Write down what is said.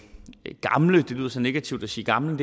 gamle det lyder så negativt at sige gamle